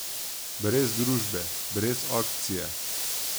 Brez družbe, brez akcije.